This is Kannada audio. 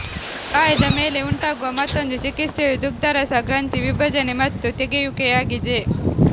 ಗಾಯದ ಮೇಲೆ ಉಂಟಾಗುವ ಮತ್ತೊಂದು ಚಿಕಿತ್ಸೆಯು ದುಗ್ಧರಸ ಗ್ರಂಥಿ ವಿಭಜನೆ ಮತ್ತು ತೆಗೆಯುವಿಕೆಯಾಗಿದೆ